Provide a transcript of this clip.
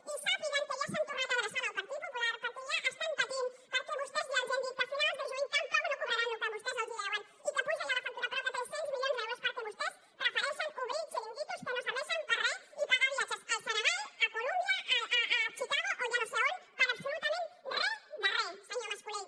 i sàpiguen que ja s’han tornar a adreçar al partit popular perquè ja estan patint perquè vostès ja els han dit que a finals de juny tampoc no cobraran el que vostès els deuen i que puja ja la factura prop de tres cents milions d’euros perquè vostès prefereixen obrir xiringuitos que no serveixen per a re i pagar viatges al senegal a columbia a chicago o ja no sé a on per a absolutament re de re senyor mas colell